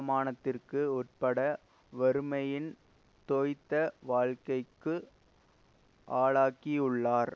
மானத்திற்கு உட்பட்ட வறுமையின் தோய்த்த வாழ்க்கைக்கு ஆளாக்கியுளார்